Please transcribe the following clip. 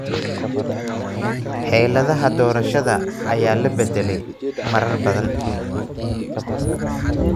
Xeeladaha doorashada ayaa la bedelay marar badan.